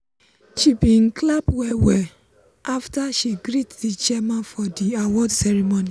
seh bin clap well well after she greet di chairman for di award ceremony.